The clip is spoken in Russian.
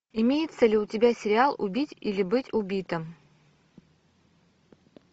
имеется ли у тебя сериал убить или быть убитым